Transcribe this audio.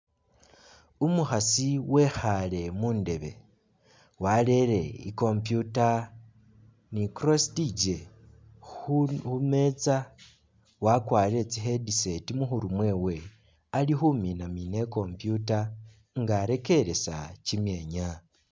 Umukhasi wekhaale mu ndebe warere icomputer ni crossitige wakwarire tsi headset mu khuru mwewe ali khumina i'computer nga arekeresa kimyeenya.